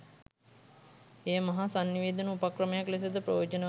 එය මහා සන්නිවේදන උපක්‍රමයක් ලෙසද ප්‍රයෝජනවත් වේ.